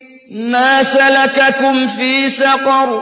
مَا سَلَكَكُمْ فِي سَقَرَ